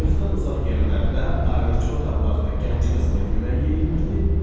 Gözdən uzaq yerlərdə, ayrıca otaqlarda gənc qızla yemək yeyilirdi.